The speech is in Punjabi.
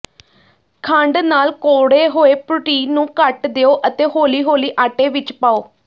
ਖੰਡ ਨਾਲ ਕੋਰੜੇ ਹੋਏ ਪ੍ਰੋਟੀਨ ਨੂੰ ਕੱਟ ਦਿਓ ਅਤੇ ਹੌਲੀ ਹੌਲੀ ਆਟੇ ਵਿਚ ਪਾਓ